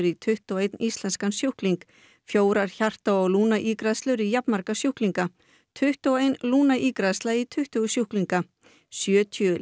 í tuttugu og einn íslenskan sjúkling fjórar hjarta og lungnaígræðslur í jafnmarga sjúklinga tuttugu og ein í tuttugu sjúklinga sjötíu